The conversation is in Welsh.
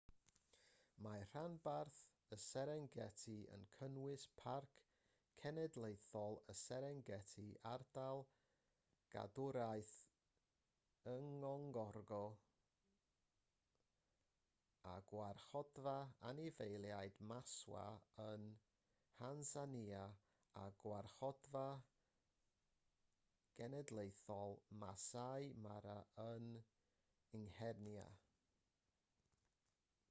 mae rhanbarth y serengeti yn cynnwys parc cenedlaethol y serengeti ardal gadwraeth ngorongoro a gwarchodfa anifeiliaid maswa yn nhansanïa a gwarchodfa genedlaethol maasai mara yng nghenia